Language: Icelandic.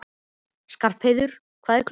Skarpheiður, hvað er klukkan?